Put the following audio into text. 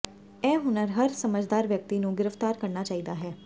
ਇਹ ਹੁਨਰ ਹਰ ਸਮਝਦਾਰ ਵਿਅਕਤੀ ਨੂੰ ਗਿਰਫ਼ਤਾਰ ਕਰਨਾ ਚਾਹੀਦਾ ਹੈ